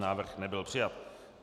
Návrh nebyl přijat.